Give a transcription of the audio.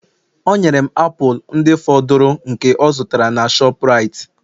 o nyere m apụl ndị fọdụrụ nke ọ zụtara n'aka shoprite